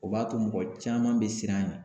O ba to mɔgɔ caman be siran a ɲɛ.